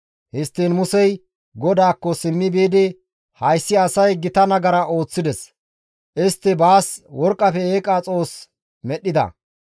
Histtiin Musey GODAAKKO simmi biidi, «Hayssi asay gita nagara ooththides; istti baas worqqafe eeqa xoos medhdhida.